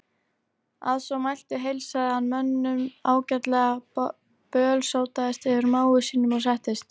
Að svo mæltu heilsaði hann mönnum ágætlega, bölsótaðist yfir mági sínum og settist.